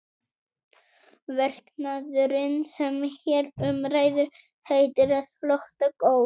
Verknaðurinn sem hér um ræður heitir að flota gólf.